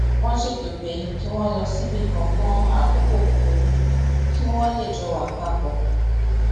wón ṣètò pé kí wón lọ síbì kan fún àkókò kúkúrú kí wón lè jọ wà pa pò